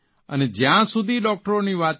અને જયાં સુધી ડૉકટરોની વાત છે